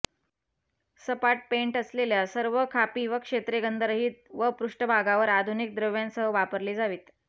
सपाट पेंट असलेल्या सर्व खापी व क्षेत्रे गंधरहित व पृष्ठभागावर आधुनिक द्रव्यांसह वापरली जावीत